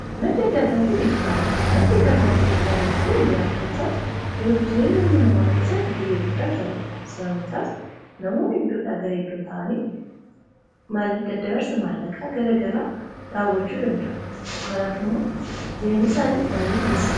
madda kaffaltii maddi kaffaltii dijitaalaawaa kun jiraachuun isaa jiruuf jireenya ilma namaa keessatti gahee guddaa taphata. sababni isaas namoonni iddoo dha gara iddoo taa’anii daddabarsa maallaqaa gara garaa raawwachuu danda’u. kanaaf immoo jireenya isaanii baay'ee mijeessaaf.